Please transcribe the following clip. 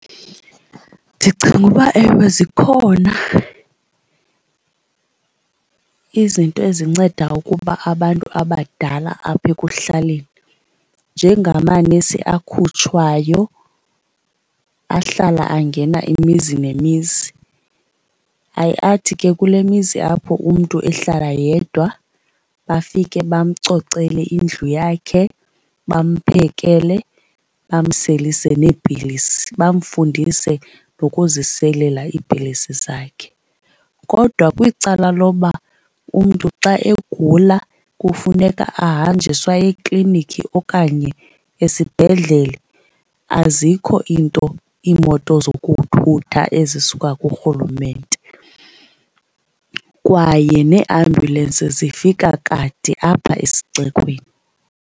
Ndicinga uba ewe zikhona izinto ezinceda ukuba abantu abadala apha ekuhlaleni, njengamanesi akhutshwayo ahlala angena imizi nemizi. Aye athi ke kule mizi apho umntu ehlala yedwa bafike bamcocele indlu yakhe, bamphekele, bamselise neepilisi, bamfundise nokuziselela iipilisi zakhe. Kodwa kwicala loba umntu xa egula kufuneka ahanjiswe aye eklinikhi okanye esibhedlele, azikho iinto, iimoto zokuthutha ezisuka kuRhulumente kwaye neeambulensi zifika kade apha esixekweni.